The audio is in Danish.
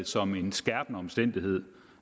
som en skærpende omstændighed